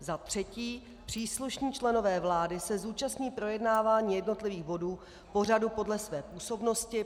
Za třetí, příslušní členové vlády se zúčastní projednávání jednotlivých bodů pořadu podle své působnosti.